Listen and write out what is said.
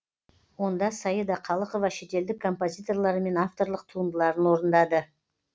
онда саида қалықова шетелдік композиторлары мен авторлық туындыларын орындады